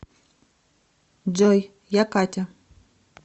джой я катя